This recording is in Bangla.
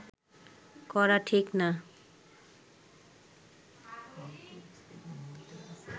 করা ঠিক না